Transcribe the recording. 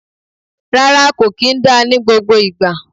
Rárá, kò kì í dá ní gbogbo ìgbà.